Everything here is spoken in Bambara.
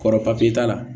Kɔrɔ papiye t'a la